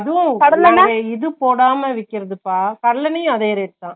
ஹம் நாங்க இது போடாம விக்கிரதுப்பா, கடலேன்னையும் அதே rate தான்